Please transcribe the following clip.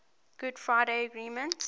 good friday agreement